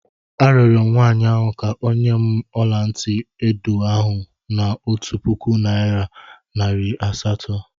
Arịọrọ m nwaanyị ahụ ka o nye m ọla ntị edo ahụ n'otu puku naịra nari asatọ.